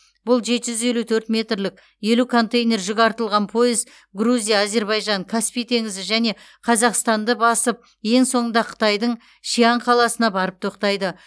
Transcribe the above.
бұл жеті жүз елу төрт метрлік елу контейнер жүк артылған пойыз грузия әзербайжан каспий теңізі және қазақстанды басып ең соңында қытайдың шиан қаласына барып тоқтайды